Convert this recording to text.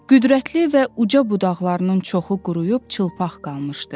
Qüdrətli və uca budaqlarının çoxu quruyub çılpaq qalmışdı.